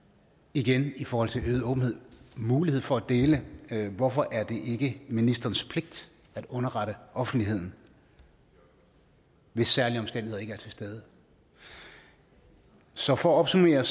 igen i forhold til øget åbenhed mulighed for at dele hvorfor er det ikke ministerens pligt at underrette offentligheden hvis særlige omstændigheder ikke er til stede så for at opsummere